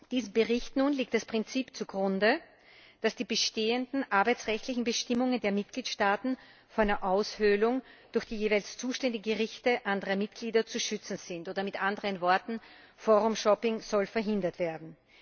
Diesem Bericht nun liegt das Prinzip zugrunde, dass die bestehenden arbeitsrechtlichen Bestimmungen der Mitgliedstaaten vor einer Aushöhlung durch die jeweils zuständigen Gerichte anderer Mitglieder zu schützen sind, oder mit anderen Worten Forum shopping soll verhindert werden.